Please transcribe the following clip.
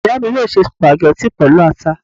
Ìyá mi yóò se sùpàgẹ́tì pẹ̀lú ata